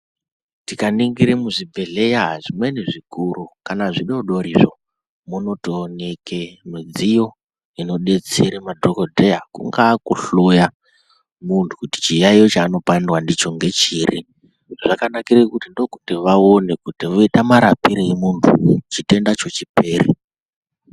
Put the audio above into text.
Tikaningira muzvibhedhleya zvimweni zvikuru kana zvidodorizvo munotooneke midziyo inobetsere madhogodheya kungaa kuhloya muntu kuti chiyaiyo chaanopandwa ndicho ngechiri. Zvakanakira kuti ndokuti vaone kuti voita murapirei muntu kuti chitendacho chipere.